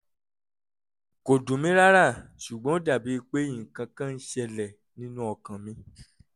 kò dùn mí rárá ṣùgbọ́n ó dàbí pé nǹkan kan ń ṣẹlẹ̀ nínú ọkàn mi